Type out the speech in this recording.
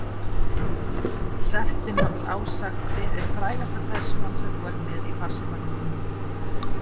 Settin hans Ása Hver er frægasta persónan sem þú ert með í farsímanum þínum?